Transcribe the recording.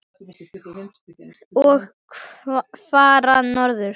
Og fara norður.